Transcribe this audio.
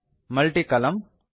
multi ಕಾಲಮ್ನ